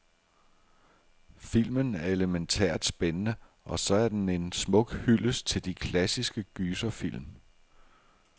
Filmen er elemæntært spændende, og så er den en smuk hyldest til de klassiske gyserfilm.